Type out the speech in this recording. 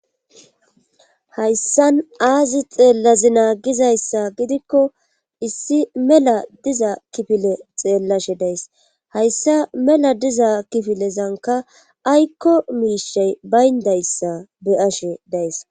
hayssan aazi xeellazi naagizayssa gidikko issi mela diza kifile xeellashe days hayssa mela diza kifilezanka aykko miishey bayndayssa be ashe days